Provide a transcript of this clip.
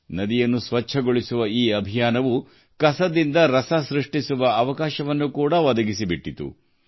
ನದಿ ಸ್ವಚ್ಛತೆಯ ಈ ಅಭಿಯಾನ ತ್ಯಾಜ್ಯದಿಂದ ಸಂಪತ್ತು ಸೃಷ್ಟಿಗೂ ಅವಕಾಶ ಕಲ್ಪಿಸಿದೆ